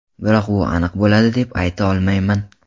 Biroq bu aniq bo‘ladi deb ayta olmayman.